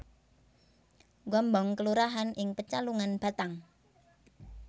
Gombong kelurahan ing Pecalungan Batang